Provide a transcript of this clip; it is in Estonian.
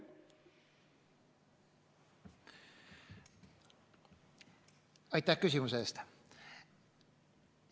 Aitäh küsimuse eest!